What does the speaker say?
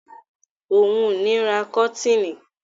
Ò ún ní ó ra kọ́tiinì